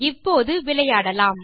இப்போது விளையாடலாம்